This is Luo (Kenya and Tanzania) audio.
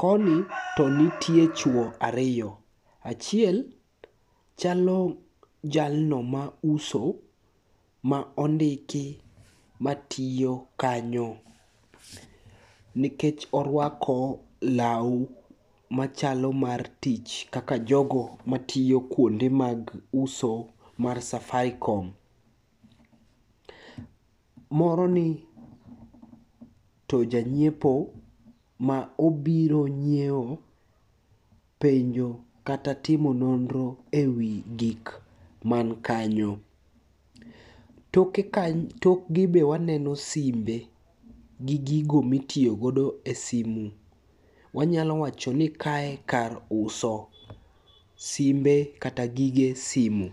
Koni to nitie chwo ariyo, achiel chalo jalno mauso ma ondiki matiyo kanyo nikech orwako law machalo mar tich kaka jogo matiyo kuonde mag uso mar Safaricom. Moroni to janyiepo ma obiro nyieo, penjo kata timo nonro e wi gik mankanyo. Tokgi be waneno simbe gi gigo mitiyogodo e simu, wanyalo wacho ni kae kar uso simbe kata gige simu.